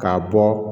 K'a bɔ